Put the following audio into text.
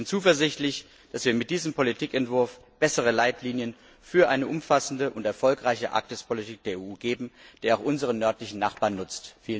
Ich bin zuversichtlich, dass wir mit diesem Politikentwurf bessere Leitlinien für eine umfassende und erfolgreiche Arktispolitik der EU abgeben, die auch unseren nördlichen Nachbarn nutzt.